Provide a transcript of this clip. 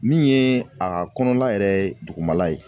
Min ye a ka kɔnɔna yɛrɛ dugumala ye.